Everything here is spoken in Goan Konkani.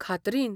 खात्रीन.